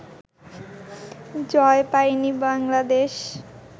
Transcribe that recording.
জয় পায়নি বাংলাদেশ